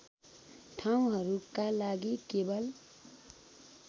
ठाउँहरूका लागि केवल